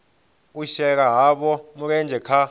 u shela havho mulenzhe kha